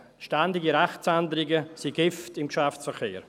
Ständige Rechtsänderungen sind Gift im Geschäftsverkehr.